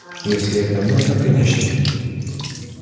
если это нужно конечно